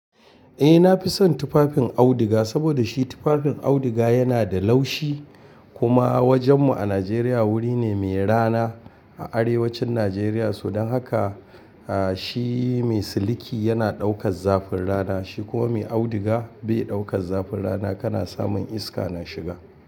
Eh, na fi son tufafin auduga saboda shi tufafin auduga yana da laushi. Kuma wajen mu a Najeriya wuri ne mai rana a arewacin Najeriya. Don haka shi mai siliki yana ɗaukar zafin rana, shi kuwa mai auduga bai ɗaukar zafin rana, kana samun iska na shiga.